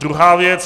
Druhá věc.